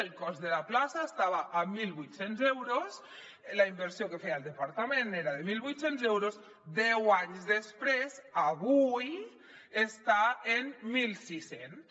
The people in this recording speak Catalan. el cost de la plaça estava en mil vuit cents euros la inversió que hi feia el departament era de mil vuit cents euros deu anys després avui està en mil sis cents